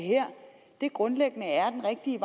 grundlæggende er den rigtige